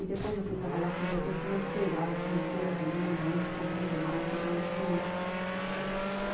E depois eu fui trabalhar com o diretor financeiro, a área financeira também é muito corrida, é uma área totalmente diferente.